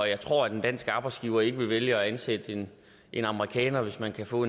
jeg tror at en dansk arbejdsgiver ikke vil vælge at ansætte en amerikaner hvis man kan få